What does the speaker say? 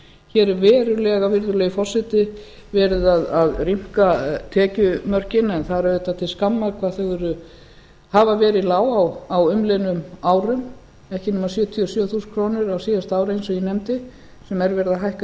hér er verulega virðulegi forseti verið að rýmka tekjumörkin en það er auðvitað til skammar hvað þau hafa verið lág á umliðnum árum ekki nema sjötíu og sjö þúsund krónur á síðasta ári eins og ég nefndi sem er verið að hækka